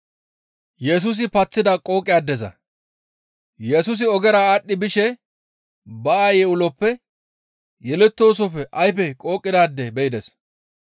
Yesusi ogera aadhdhi bishe ba aayey uloppe yelettoosofe ayfe qooqidaade be7ides.